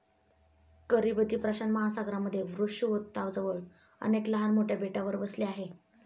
Kiribati प्रशांत महासागरामध्ये विषुववृत्ताजवळ अनेक लहान मोठ्या बेटावर वसले आहे.